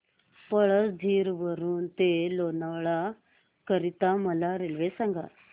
पळसधरी वरून ते लोणावळा करीता मला रेल्वे सांगा